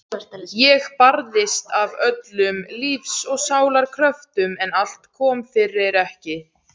Ég barðist af öllum lífs og sálar kröftum en allt kom fyrir ekki.